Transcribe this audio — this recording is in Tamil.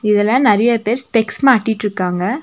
இதுல நெறைய பேர் ஸ்பெக்ஸ் மாட்டிட்ருக்காங்க.